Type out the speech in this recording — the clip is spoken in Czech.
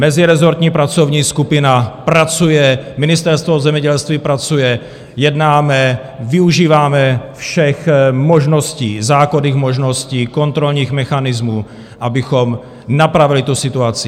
Mezirezortní pracovní skupina pracuje, Ministerstvo zemědělství pracuje, jednáme, využíváme všech možností, zákonných možností, kontrolních mechanismů, abychom napravili tu situaci.